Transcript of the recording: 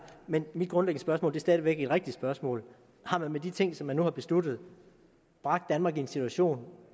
men mit grundlæggende spørgsmål er stadig væk et rigtigt spørgsmål har man med de ting som man nu har besluttet bragt danmark i en situation